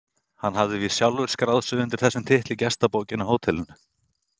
Hann hafði víst sjálfur skráð sig undir þessum titli í gestabókina á Hótel